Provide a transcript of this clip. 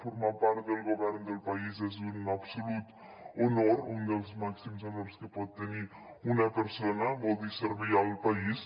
formar part del govern del país és un absolut honor un dels màxims honors que pot tenir una persona vol dir servir el país